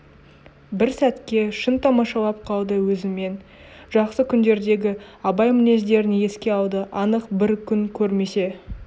бір сәтке шын тамашалап қалды өзімен жақсы күндердегі абай мінездерін еске алды анық бір күн көрмесе